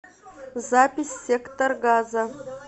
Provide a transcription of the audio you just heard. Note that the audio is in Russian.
запись сектор газа